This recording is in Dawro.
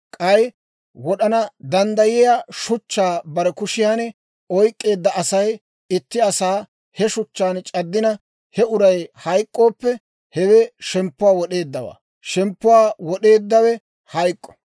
K'ay wod'ana danddayiyaa shuchchaa bare kushiyan oyk'k'eedda Asay itti asaa he shuchchaan c'addina, he uray hayk'k'ooppe, hewe shemppuwaa wod'eeddawaa; shemppuwaa wod'eeddawe hayk'k'o.